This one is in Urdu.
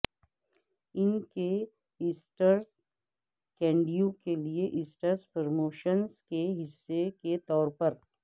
ان کے ایسٹر کینڈیوں کے لئے ایسٹر پروموشنز کے حصے کے طور پر